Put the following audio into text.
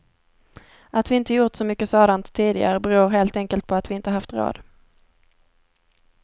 Att vi inte gjort så mycket sådan tidigare beror helt enkelt på att vi inte haft råd.